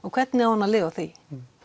hvernig á hann að lifa á því